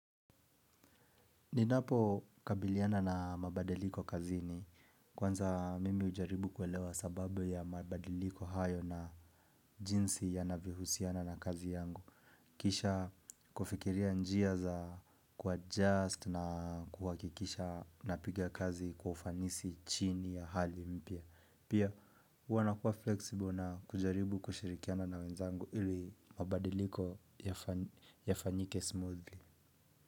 Ninapo kabiliana na mabadiliko kazini, kwanza mimi hujaribu kuelewa sababu ya mabadiliko hayo na jinsi yanavyohusiana na kazi yangu. Kisha kufikiria njia za kuadjust na kuhakikisha napiga kazi kwa ufanisi chini ya hali mpya. Pia huwa nakuwa flexible na kujaribu kushirikiana na wenzangu ili mabadiliko yafanyike smoothly.